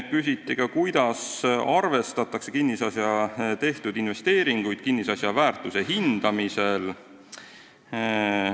Küsiti ka, kuidas arvestatakse kinnisasja tehtud investeeringuid kinnisasja väärtuse hindamisel.